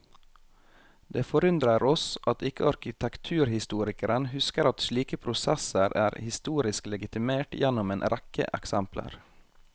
Det forundrer oss at ikke arkitekturhistorikeren husker at slike prosesser er historisk legitimert gjennom en rekke eksempler.